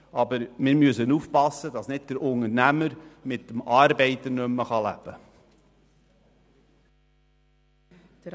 Aber wir müssen aufpassen, dass nicht der Unternehmer mit dem Arbeiter nicht mehr leben kann.